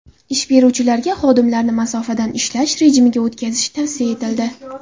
Ish beruvchilarga xodimlarini masofadan ishlash rejimiga o‘tkazish tavsiya etildi.